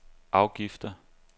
afgifter